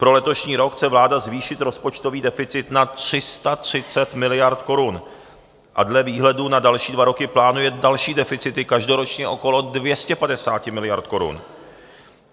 Pro letošní rok chce vláda zvýšit rozpočtový deficit na 330 miliard korun a dle výhledu na další dva roky plánuje další deficity každoročně okolo 250 miliard korun.